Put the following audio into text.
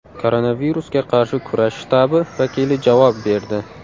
Koronavirusga qarshi kurash shtabi vakili javob berdi.